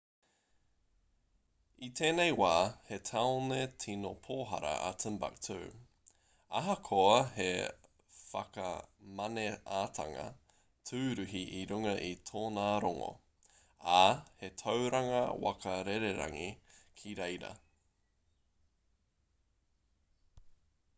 i tēnei wā he tāone tino pōhara a timbuktu ahakoa he whakamaneatanga tūruhi i runga i tōna rongo ā he tauranga waka rererangi ki reira